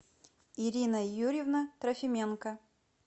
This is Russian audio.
ирина юрьевна трофименко